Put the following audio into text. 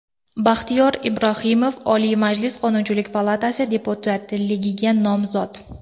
Baxtiyor Ibrohimov, Oliy Majlis Qonunchilik palatasi deputatligiga nomzod .